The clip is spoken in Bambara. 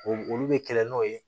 O olu bɛ kɛlɛ n'o ye